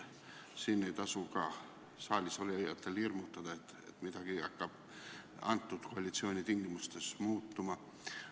Nii et ka saalis olijatel ei tasu hirmutada, nagu midagi hakkaks antud koalitsiooni tingimustes muutuma.